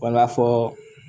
Wala fɔ